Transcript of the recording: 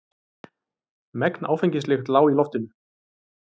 Megn áfengislykt lá í loftinu.